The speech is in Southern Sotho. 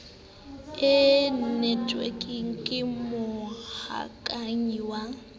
e netwekeng ke mohokahanyi wa